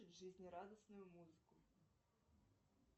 жизнерадостную музыку